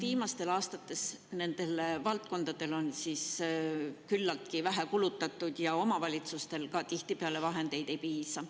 Viimastel aastatel on nendele valdkondadele küllaltki vähe kulutatud ja ka omavalitsustel tihtipeale vahendeid ei piisa.